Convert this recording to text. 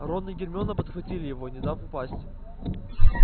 рон и гермиона подхватили его не дав упасть